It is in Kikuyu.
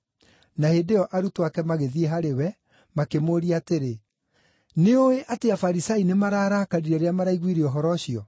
Na hĩndĩ ĩyo arutwo ake magĩthiĩ harĩ we, makĩmũũria atĩrĩ, “Nĩũĩ atĩ Afarisai nĩmararakarire rĩrĩa maraiguire ũhoro ũcio?”